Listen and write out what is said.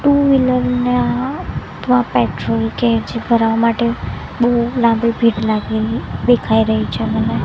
Two wheeler ના પા petrol કે જ ભરાવા માટે બહુ લાંબી ભીડ લાગેલી દેખાય રહી છે મને.